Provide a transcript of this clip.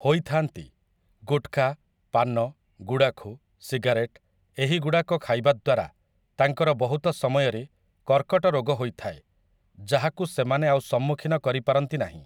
ହୋଇଥାନ୍ତି ଗୁଟଖା ପାନ ଗୁଡ଼ାଖୁ ସିଗାରେଟ୍‌ ଏହି ଗୁଡ଼ାକ ଖାଇବା ଦ୍ୱାରା ତାଙ୍କର ବହୁତ ସମୟରେ କର୍କଟ ରୋଗ ହୋଇଥାଏ ଯାହାକୁ ସେମାନେ ଆଉ ସମ୍ମୁଖୀନ କରିପାରନ୍ତି ନାହିଁ ।